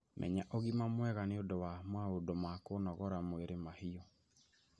Mena ũgima mwega nĩ ũndũ wa maũndũ ma kũnogora mwĩrĩ mahiu.